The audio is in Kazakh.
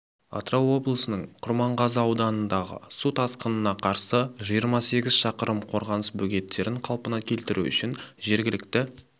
атырау облысының құрманғазы ауданындағы су тасқынына қарсы жиырма сегіз шақырым қорғаныс бөгеттерін қалпына келтіру үшін жергілікті